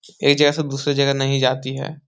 एक जगह से दूसरे जगह नहीं जाती है।